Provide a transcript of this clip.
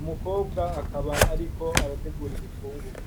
umukobwa akaba ariko arategura ibifungurwe.